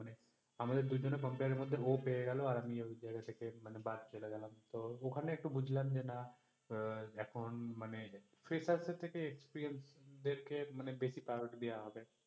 আমাদের দুজনের compare এর মধ্যে ও পেয়ে গেলো আর আমি ঐ জায়গা থেকে মানে বাদ চলে গেলাম তো ওখানে একটু বুঝলাম যে না আহ এখন মানে freshers দের থেকে experience দেরকে মানে বেশি priority দেয়া হবে